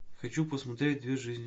хочу посмотреть две жизни